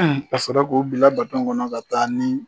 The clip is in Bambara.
A sɔrɔ k'u bila kɔnɔ ka taa ni